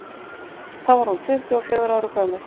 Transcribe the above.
þá var hún tuttugu og fjögurra ára gömul